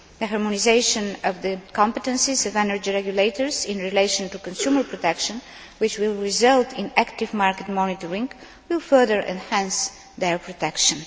The harmonisation of the competences of energy regulators in relation to consumer protection, which will result in active market monitoring, will further enhance their protection.